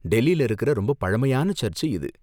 டெல்லில இருக்கற ரொம்ப பழமையான சர்ச்சு இது.